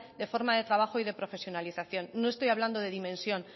de forma de trabajo y de profesionalización no estoy hablando de dimensión